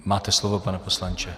Máte slovo, pane poslanče.